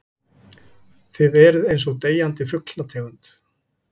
Þið eruð einsog deyjandi fuglategund.